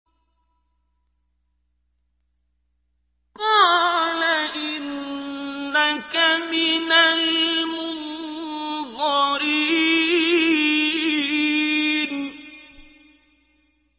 قَالَ إِنَّكَ مِنَ الْمُنظَرِينَ